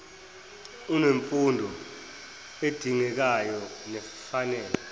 unemfundo edingekayo nefanele